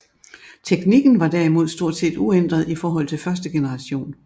Teknikken var derimod stort set uændret i forhold til første generation